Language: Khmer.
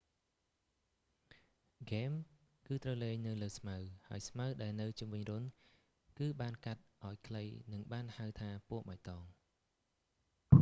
ហ្គេម គឺត្រូវលេងនៅលើស្មៅ ហើយស្មៅដែលនៅជុំវិញរន្ធ គឺបានកាត់ឱ្យខ្លីនឹងបានហៅថាពណ៍បៃតង